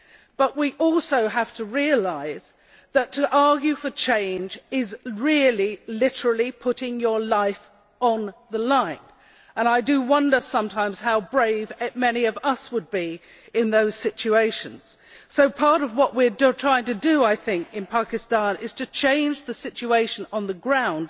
But we also have to realise that to argue for change is really literally putting your life on the line, and I do wonder sometimes how brave many of us would be in those situations. Part of what we are trying to do in Pakistan is to change the situation on the ground,